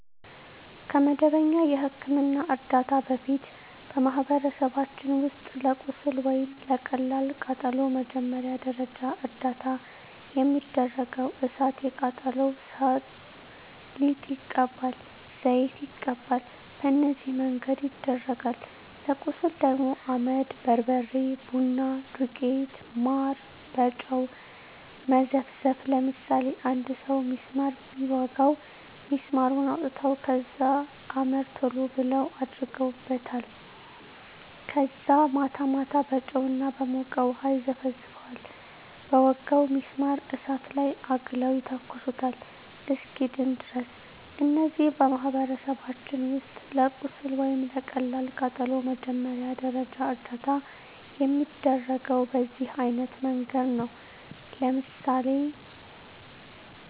ከመደበኛ የሕክምና ዕርዳታ በፊት፣ በማኅበረሰባችን ውስጥ ለቁስል ወይም ለቀላል ቃጠሎ መጀመሪያ ደረጃ እርዳታ የሚደረገው እሣት የቃጠለው ሠው ሊጥ ይቀባል፤ ዘይት ይቀባል፤ በነዚህ መንገድ ይደረጋል። ለቁስል ደግሞ አመድ፤ በርበሬ፤ ቡና ዱቄት፤ ማር፤ በጨው መዘፍዘፍ፤ ለምሳሌ አንድ ሠው ቢስማር ቢወጋው ቢስማሩን አውጥተው ከዛ አመድ ቶሎ ብለው አደርጉበታል ከዛ ማታ ማታ በጨው እና በሞቀ ውሀ ይዘፈዝፈዋል በወጋው ቢስማር እሳት ላይ አግለው ይተኩሱታል እስኪድን ድረስ። እነዚህ በማኅበረሰባችን ውስጥ ለቁስል ወይም ለቀላል ቃጠሎ መጀመሪያ ደረጃ እርዳታ የሚደረገው በዚህ አይነት መንገድ ነው። ለምሳሌ